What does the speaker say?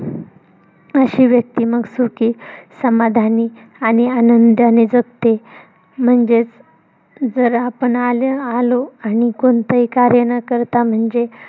अशी व्यक्ती मग सुखी समाधानी आणि आनंदाने जगते म्हणजेच जर आपण आलं आलो आणि कोणतंही कार्य न करता म्हणजे